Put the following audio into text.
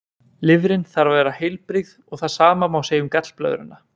Lifrin þarf að vera heilbrigð og það sama má segja um gallblöðruna.